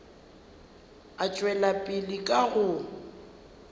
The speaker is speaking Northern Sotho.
e tšwela pele ka go